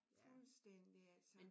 Fuldstændig altså